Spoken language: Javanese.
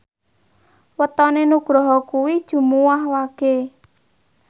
wetone Nugroho kuwi Jumuwah Wage